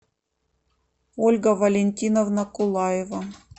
ольга валентиновна кулаева